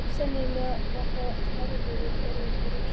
Sennilega var það nærveru og orðum Rósu að þakka.